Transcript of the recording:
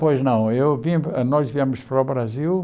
Pois não, eu vim hã nós viemos para o Brasil